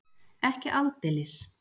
Ekki aldeilis.